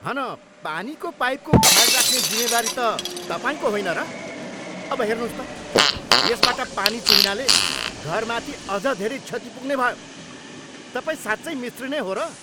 हन पानीको पाइपको ख्याल राख्ने जिम्मेवारी त तपाईँको होइन र? अब हेर्नुहोस् त, यसबाट पानी चुहिनाले घरमाथि अझ धेरै क्षति पुग्ने भयो! तपाईँ साँच्चै मिस्त्री नै हो र?